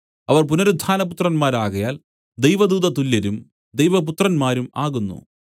അവൻ പുനരുത്ഥാനപുത്രന്മാരാകയാൽ ദൈവദൂതതുല്യരും ദൈവ പുത്രന്മാരും ആകുന്നു